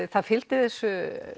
það fylgdi þessu